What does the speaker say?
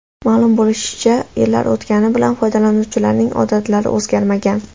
Ma’lum bo‘lishicha, yillar o‘tgani bilan foydalanuvchilarning odatlari o‘zgarmagan.